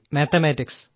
mathematics